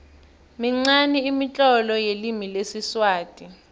minqani imitlolo yelimi lesiswati